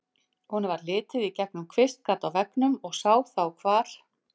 Honum varð litið í gegnum kvistgat á veggnum og sá þá hvar